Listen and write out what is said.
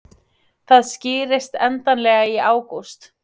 Það skýrist endanlega í ágúst